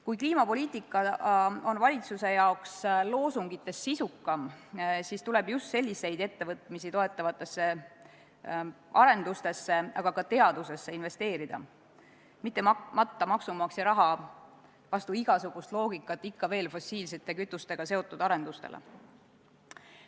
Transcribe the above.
Kui kliimapoliitika on valitsuse arvates loosungitest sisukam, siis tuleb investeerida just selliseid ettevõtmisi toetavatesse arendustesse, aga ka teadusesse, mitte matta vastu igasugust loogikat maksumaksja raha ikka veel fossiilsete kütustega seotud arendustesse.